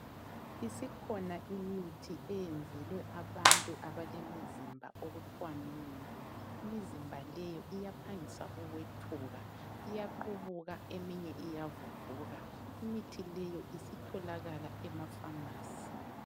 Isikhona imithi eyenzelwe abantu abalemizimba okuthwa mibi, imizimba leyi iyaphangisa ukwethuka iyaqubuka eminye iyavuvuka, imithi leyo isitholakala emafamasi.